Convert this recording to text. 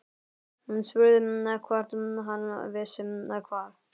Hún spurði hvort hann vissi hvar